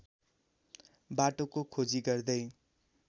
बाटोको खोजी गर्दै